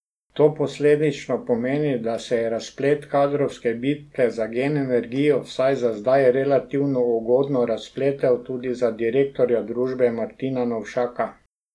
To posledično pomeni, da se je razplet kadrovske bitke za Gen Energijo vsaj za zdaj relativno ugodno razpletel tudi za direktorja družbe Martina Novšaka.